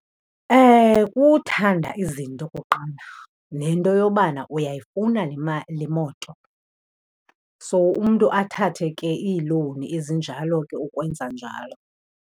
Kuthanda izinto okokuqala, nento yobana uyayifuna le moto, so umntu athathe ke iilowuni ezinjalo ke ukwenza njalo.